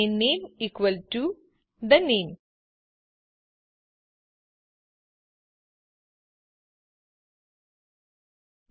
અને નામે equal to the name